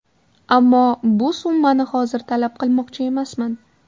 Ammo bu summani hozir talab qilmoqchi emasman.